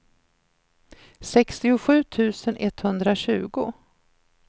sextiosju tusen etthundratjugo